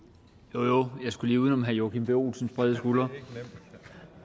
jo jo jeg skulle lige uden om herre joachim b olsens brede skuldre